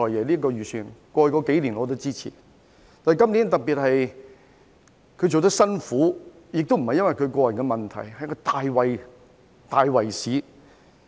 然而，他今年的工作做得特別辛苦，不是因為個人問題，而是大圍市況。